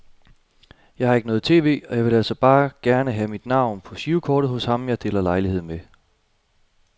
Jeg har ikke noget tv, og jeg ville altså bare gerne have mit navn på girokortet hos ham jeg deler lejlighed med.